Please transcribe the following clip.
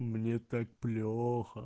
мне так плохо